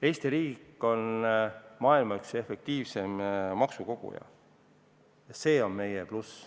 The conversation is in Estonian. Eesti riik on üks maailma efektiivseimaid maksukogujaid ja see on meie pluss.